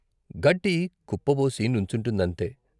గడ్డి కుప్పబోసి నుంచుంటుందంతే.